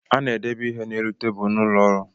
A na-edebe ihe n'elu tabulu n’ụlọọrụ